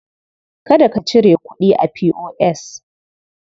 Kada ka cire kuɗi a P.O.S.